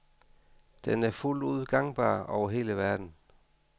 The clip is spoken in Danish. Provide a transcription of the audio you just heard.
Den er fuldt ud gangbar over hele verden.